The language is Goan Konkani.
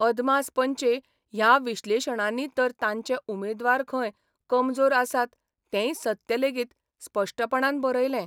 अदमास पंचे 'ह्या विश्लेशणांनी तर तांचे उमेदवार खंय कमजोर आसात तेंय सत्य लेगीत स्पश्टपणान बरयलें.